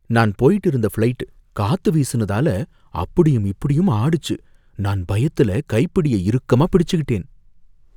நான் போயிட்டு இருந்த ஃப்ளைட் காத்து வீசுனதால அப்படியும் இப்படியும் ஆடுச்சு, நான் பயத்துல கைப்பிடிய இறுக்கமா பிடிச்சுக்கிட்டேன்.